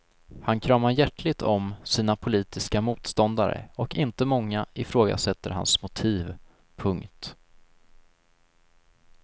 Han kramar hjärtligt om sina politiska motståndare och inte många ifrågasätter hans motiv. punkt